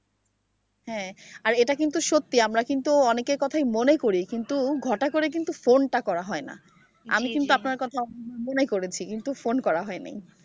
হ্যাঁ, আর এটা কিন্তু সত্যি আমরা কিন্তু অনেকের কথাই মনে করি, কিন্তু ঘটা করে কিন্তু ফোনটা করা হয় না। আমি কিন্তু আপনার কথা মনে করেছি, কিন্তু ফোন করা হয়নি।